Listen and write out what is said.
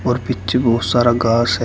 और नीचे बहुत सारा घास है।